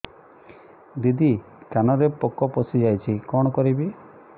ଦିଦି କାନରେ ପୋକ ପଶିଯାଇଛି କଣ କରିଵି